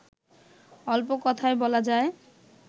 অল্প কথায় বলা যায়